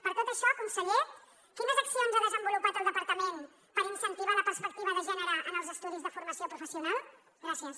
per tot això conseller quines accions ha desenvolupat el departament per incentivar la perspectiva de gènere en els estudis de formació professional gràcies